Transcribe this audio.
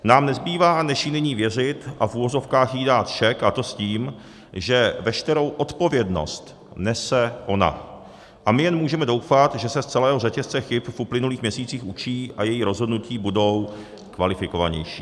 Nám nezbývá, než jí nyní věřit a v uvozovkách jí dát šek, a to s tím, že veškerou odpovědnost nese ona a my jen můžeme doufat, že se z celého řetězce chyb v uplynulých měsících učí a její rozhodnutí budou kvalifikovanější.